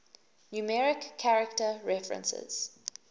numeric character references